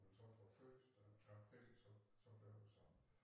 Jeg tror fra første april så så blev det sådan